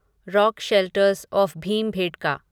rock shelters of Bhimbetka